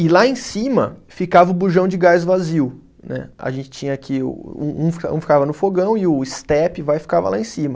E lá em cima ficava o bujão de gás vazio, né, a gente tinha que, um um fica, um ficava no fogão e o estepe vai e ficava lá em cima.